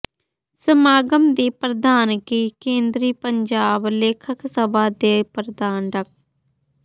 ਸਮਾਗਮ ਦੀ ਪ੍ਰਧਾਨਗੀ ਕੇਂਦਰੀ ਪੰਜਾਬੀ ਲੇਖਕ ਸਭਾ ਦੇ ਪ੍ਰਧਾਨ ਡਾ